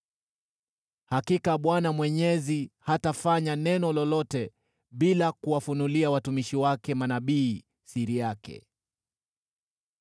Hakika Bwana Mwenyezi hatafanya neno lolote bila kuwafunulia watumishi wake manabii siri yake.